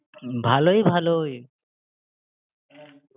ভালোই ভালোই